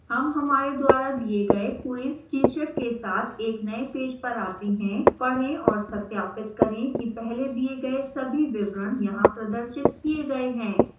हम हमारे द्वारा दिए गए quiz शीर्षक के साथ एक नए पेज पर we हैं पढ़ें और सत्यापित करें कि पहले दिए गए सभी विवरण यहां प्रदर्शित किए गए हैं